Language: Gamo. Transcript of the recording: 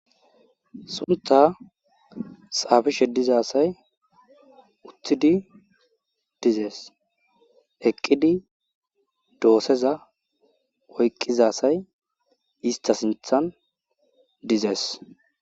Sunta xafishe diza asayi utid dizes, eqidi doseza oyqiza asay iista sinthan dizesi.